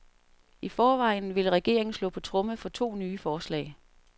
I forvejen vil regeringen slå på tromme for to nye forslag.